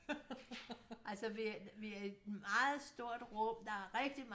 altså vi er vi er i et meget stort rum der rigtig